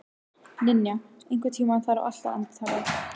Ninja, einhvern tímann þarf allt að taka enda.